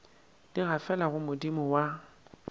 di gafela go modimo wa